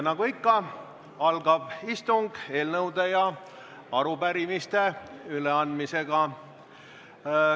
Nagu ikka, algab istung eelnõude ja arupärimiste üleandmisega.